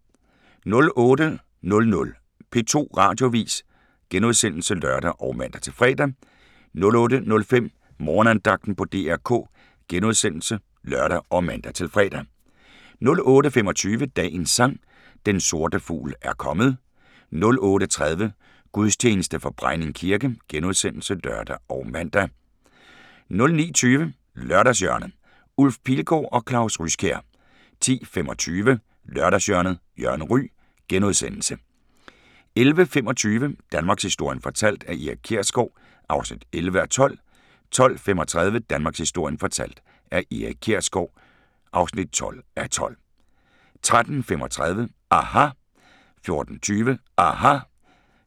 08:00: P2 Radioavis *(lør og man-fre) 08:05: Morgenandagten på DR K *(lør og man-fre) 08:25: Dagens Sang: Den sorte fugl er kommet 08:30: Gudstjeneste fra Brejning kirke *(lør og man) 09:20: Lørdagshjørnet - Ulf Pilgaard og Claus Ryskjær 10:25: Lørdagshjørnet - Jørgen Ryg * 11:25: Danmarkshistorien fortalt af Erik Kjersgaard (11:12) 12:35: Danmarkshistorien fortalt af Erik Kjersgaard (12:12) 13:35: aHA! 14:20: aHA!